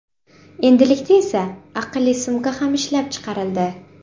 Endilikda esa, aqlli sumka ham ishlab chiqarildi.